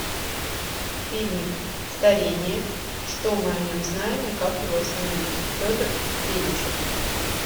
фильмик старение что мы о нем знаем и как его остановить петр федичев